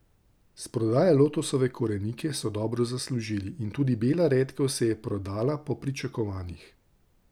S prodajo lotosove korenike so dobro zaslužili in tudi bela redkev se je prodala po pričakovanjih.